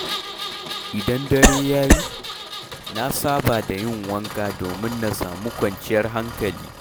Idan dare ya yi, na saba da yin wanka domin na samu kwanciyar hankali.